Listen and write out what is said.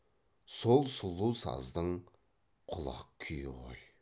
сол сұлу саздың құлақ күйі ғой